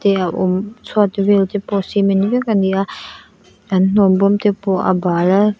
te a awm chhuat vel te pawh cement vek a ni a an hnawm bawm te pawh a bal a.